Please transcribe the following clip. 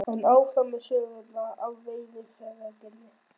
En áfram með söguna af veiðarfæragerðinni.